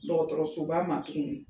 Dɔgɔtɔrɔso ba ma tuguni